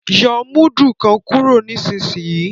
yóó mudu kán kúrò nísìsiyìí!